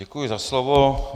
Děkuji za slovo.